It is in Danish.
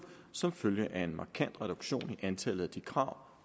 som følge af en markant reduktion i antallet af de krav